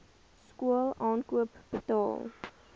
skool aankoop betaal